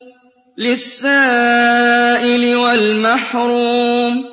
لِّلسَّائِلِ وَالْمَحْرُومِ